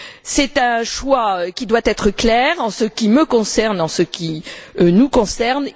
C'est un choix qui doit être clair en ce qui me concerne, en ce qui nous concerne.